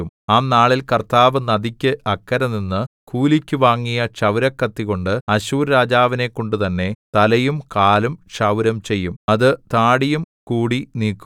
ആ നാളിൽ കർത്താവ് നദിക്ക് അക്കരെനിന്നു കൂലിക്ക് വാങ്ങിയ ക്ഷൗരക്കത്തികൊണ്ട് അശ്ശൂർരാജാവിനെക്കൊണ്ടുതന്നെ തലയും കാലും ക്ഷൗരം ചെയ്യും അത് താടിയും കൂടി നീക്കും